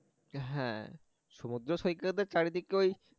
হ্যাঁ সমুদ্র সৈকতের চারিদিকে ওই